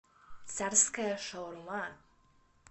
царская шаурма